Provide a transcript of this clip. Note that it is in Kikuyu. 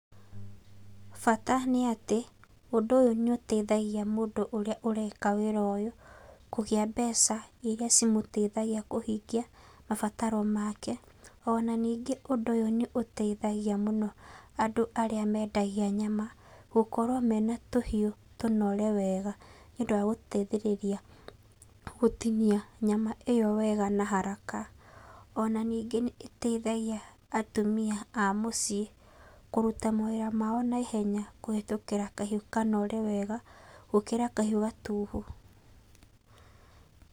Bata nĩ atĩ ũndũ ũyũ nĩ ũteithagia mũndũ ũrĩa ũreka wĩra ũyũ kũgĩa mbeca iria cimũteithagia kũhingia mabataro make. Ona ningĩ ũndũ ũyũ nĩ ũteithagia mũno andũ arĩa mendagia nyama gũkorwo mena tũhiũ tũnore wega nĩ ũndũ wa gũteithĩrĩria gũtinia nyama ĩyo wega na haraka. Ona ningĩ nĩ ĩteithagia atumia a mũciĩ kũruta mawĩra mao naihenya kũhĩtũkĩra kahiũ kanore wega, gũkĩra kahiũ gatuhu.